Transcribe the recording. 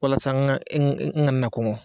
Walasa n kana na kɔnɔ